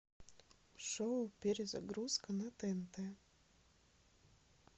шоу перезагрузка на тнт